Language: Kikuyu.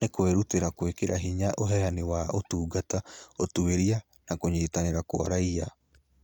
Nĩ kwĩrutĩire gwĩkĩra hinya ũheani wa ũtungata, ũtuĩria, na kũnyitanĩra kwa raiya.